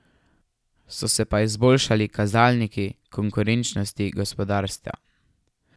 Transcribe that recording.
So se pa izboljšali kazalniki konkurenčnosti gospodarstva.